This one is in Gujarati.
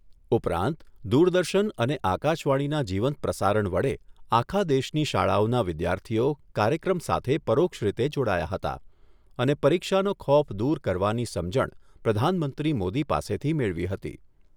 ઉપરાંત દૂરદર્શન અને આકાશવાણીના જીવંત પ્રસારણ વડે આખા દેશની શાળાઓના વિદ્યાર્થીઓ કાર્યક્રમ સાથે પરોક્ષરીતે જોડાયા હતા અને પરીક્ષાનો ખોફ દૂર કરવાની સમજણ પ્રધાનમંત્રી મોદી પાસેથી મેળવી હતી.